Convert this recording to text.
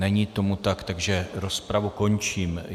Není tomu tak, takže rozpravu končím.